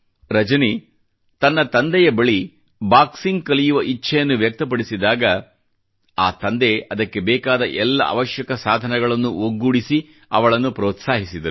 ರಜನಿ ತನ್ನ ತಂದೆ ಬಳಿ ಬಾಕ್ಸಿಂಗ್ ಕಲಿಯುವ ಇಚ್ಛೆಯನ್ನು ವ್ಯಕ್ತಪಡಿಸಿದಾಗ ತಂದೆ ಅದಕ್ಕೆ ಬೇಕಾದ ಎಲ್ಲ ಅವಶ್ಯಕ ಸಾಧನಗಳನ್ನು ಒಗ್ಗೂಡಿಸಿ ಅವಳನ್ನು ಪ್ರೋತ್ಸಾಹಿಸಿದರು